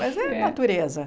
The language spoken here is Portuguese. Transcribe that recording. Mas é natureza.